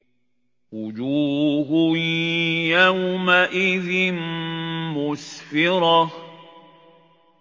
وُجُوهٌ يَوْمَئِذٍ مُّسْفِرَةٌ